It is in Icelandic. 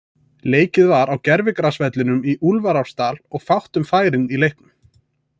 Leikið var á gervigrasvellinum í Úlfarsárdal og var fátt um færin í leiknum.